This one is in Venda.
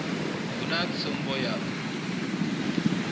hu na tsumbo ya u